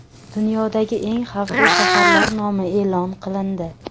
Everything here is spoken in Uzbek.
Dunyodagi eng xavfli shaharlar nomi e’lon qilindi.